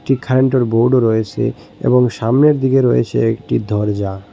এখানটোর বোর্ডও রয়েসে এবং সামনের দিকে রয়েছে একটি দরজা।